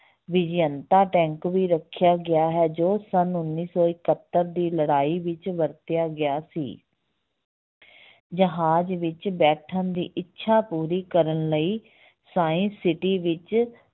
Vijayanta tank ਵੀ ਰੱਖਿਆ ਗਿਆ ਹੈ ਜੋ ਸੰਨ ਉੱਨੀ ਸੌ ਇਕਹੱਤਰ ਦੀ ਲੜਾਈ ਵਿੱਚ ਵਰਤਿਆ ਗਿਆ ਸੀ ਜਹਾਜ ਵਿੱਚ ਬੈਠਣ ਦੀ ਇੱਛਾ ਪੂਰੀ ਕਰਨ ਲਈ science city ਵਿੱਚ